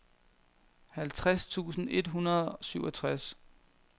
halvtreds tusind et hundrede og syvogtres